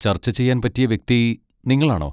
ചർച്ച ചെയ്യാൻ പറ്റിയ വ്യക്തി നിങ്ങളാണോ?